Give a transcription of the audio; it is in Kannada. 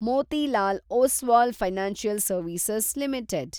Motilal Oswal financial service limited